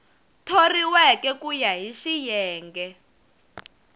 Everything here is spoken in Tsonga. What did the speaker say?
thoriweke ku ya hi xiyenge